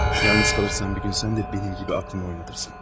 Yalnız kalırsan bir gün sən də mənim kimi aklını oynatırsın.